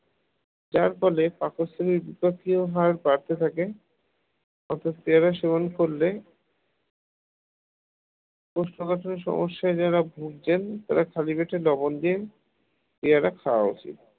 যার ফলে পাকস্থলীর বিপাকীয় ভাগ বাড়তে থাকে পেয়ারা সেবন করলে কোষ্ঠকাঠিন্যের সমস্যায় যারা ভুগছেন তারা খালি পেটে লবণ দিয়ে পেয়ারা খাওয়া উচিত